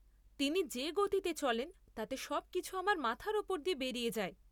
তিনি যে গতিতে চলেন তাতে সবকিছু আমার মাথার ওপর দিয়ে বেরিয়ে যায়।